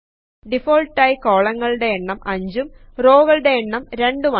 default ആയി കൊളങ്ങളുടെ എണ്ണം 5 ഉം റോകളുടെ എണ്ണം 2 ഉം ആണ്